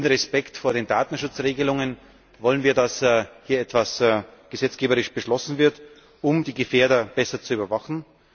In Respekt vor den Datenschutzregelungen wollen wir, dass hier gesetzgeberisch etwas beschlossen wird, um die Gefährder besser zu überwachen.